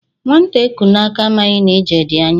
Nwata eku n'aka, amaghi na ije di anya